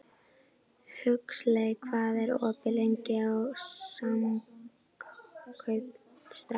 Huxley, hvað er opið lengi í Samkaup Strax?